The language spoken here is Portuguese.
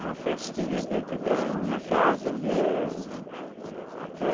Uma festinha dentro da minha casa mesmo até.